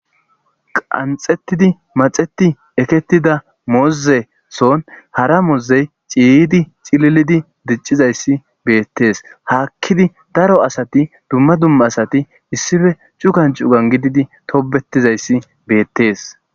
qanxetidi maxeti eketida moozeson hara moozey ciydi cililidi diccizayssi beettees haakkidi daro asati dumma dumma asati issife cukan cugan gididi tobetizayssi beettees